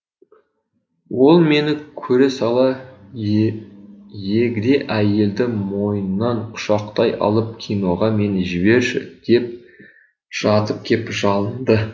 ол мені көре сала егде әйелді мойнынан құшақтай алып киноға мені жіберші деп жатып кеп жалынды